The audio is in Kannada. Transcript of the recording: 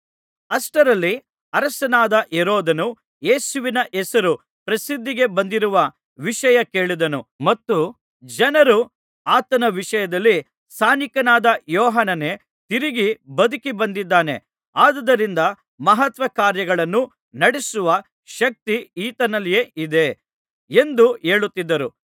ಅಷ್ಟರಲ್ಲಿ ಅರಸನಾದ ಹೆರೋದನು ಯೇಸುವಿನ ಹೆಸರು ಪ್ರಸಿದ್ಧಿಗೆ ಬಂದಿರುವ ವಿಷಯ ಕೇಳಿದನು ಮತ್ತು ಜನರು ಆತನ ವಿಷಯದಲ್ಲಿ ಸ್ನಾನಿಕನಾದ ಯೋಹಾನನೇ ತಿರುಗಿ ಬದುಕಿ ಬಂದಿದ್ದಾನೆ ಆದುದರಿಂದ ಮಹತ್ಕಾರ್ಯಗಳನ್ನು ನಡಿಸುವ ಶಕ್ತಿ ಈತನಲ್ಲಿ ಇದೆ ಎಂದು ಹೇಳುತ್ತಿದ್ದರು